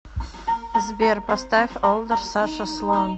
сбер поставь олдер саша слон